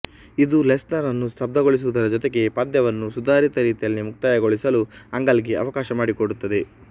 ಇದು ಲೆಸ್ನರ್ ಅನ್ನು ಸ್ತಬ್ದಗೊಳಿಸುವುದರ ಜೊತೆಗೆ ಪಂದ್ಯವನ್ನು ಸುಧಾರಿತ ರೀತಿಯಲ್ಲಿ ಮುಕ್ತಾಯಗೊಳಿಸಲು ಆಂಗಲ್ ಗೆ ಅವಕಾಶ ಮಾಡಿಕೊಡುತ್ತದೆ